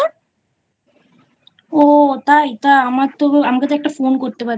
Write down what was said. ও তাই? তা আমার তো আমাকে তোএকটা Phone করতে পারতিস।